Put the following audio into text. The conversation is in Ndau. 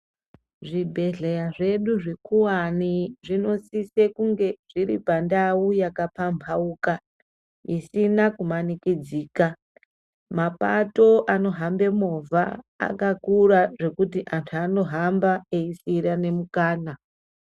Zvibhedhleya zvedu zvikuvani zvinosise kunge zviri pandau yakapambauka. Isina kumanikidzika mapato anohamba movha angakura zvekuti amuntu anohamba eisirane mukana.